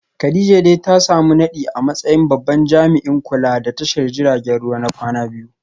Kadijah dai ta samu nadi a matsayin babban jami’in kula da tashar jiragen ruwa na kwana biyu